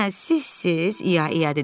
Hə, sizsiz, İya İya dedi.